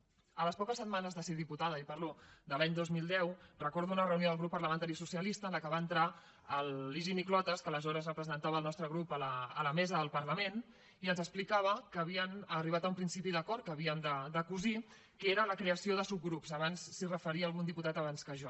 al cap de poques setmanes de ser diputada i parlo de l’any dos mil deu recordo una reunió del grup parlamentari socialista en la que va entrar l’higini clotas que aleshores representava el nostre grup a la mesa del parlament i ens explicava que havien arribat a un principi d’acord que havíem de cosir que era la creació de subgrups abans s’hi referia algun diputat abans que jo